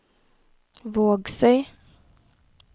Vågsøy